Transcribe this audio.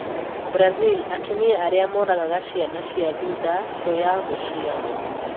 Brazil: Atumia aria moragaga ciana cia thutha tu ya gũciarwo